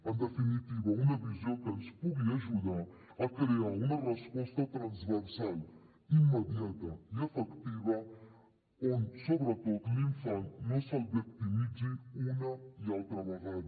en definitiva una visió que ens pugui ajudar a crear una resposta transversal immediata i efectiva on sobretot a l’infant no se’l victimitzi una i altra vegada